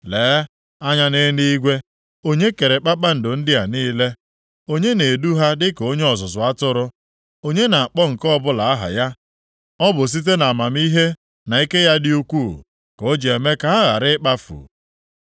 Lee anya nʼeluigwe; onye kere kpakpando ndị a niile? Onye na-edu ha dịka onye ọzụzụ atụrụ? Onye na-akpọ nke ọbụla aha ya? Ọ bụ site nʼamamihe na ike ya dị ukwuu, ka o ji eme ka ha ghara ịkpafu.